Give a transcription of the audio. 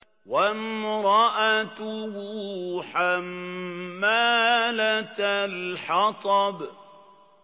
وَامْرَأَتُهُ حَمَّالَةَ الْحَطَبِ